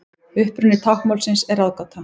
Uppruni táknmálsins er ráðgáta.